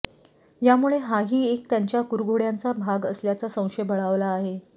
यामुळे हाही एक त्यांच्या कुरघोड्यांचा भाग असल्याचा संशय बळावला आहे